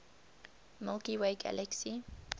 milky way galaxy